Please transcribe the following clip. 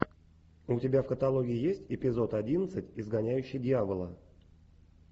у тебя в каталоге есть эпизод одиннадцать изгоняющий дьявола